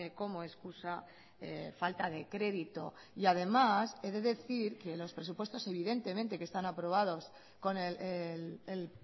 como excusa falta de crédito y además he de decir que los presupuestos evidentemente que están aprobados con el